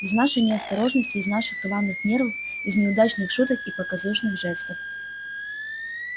из нашей неосторожности из наших рваных нервов из неудачных шуток и показушных жестов